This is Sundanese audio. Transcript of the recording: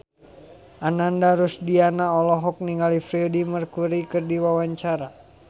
Ananda Rusdiana olohok ningali Freedie Mercury keur diwawancara